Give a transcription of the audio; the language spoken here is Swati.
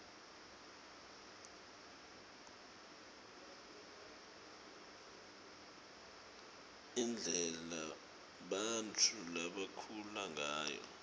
indlela bantfu labakhula ngayo